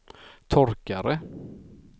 torkare